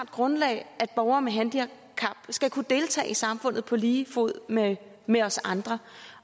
grundlag at borgere med handicap skal kunne deltage i samfundet på lige fod med med os andre